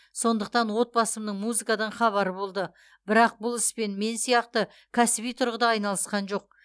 сондықтан отбасымның музыкадан хабары болды бірақ бұл іспен мен сияқты кәсіби тұрғыда айналысқан жоқ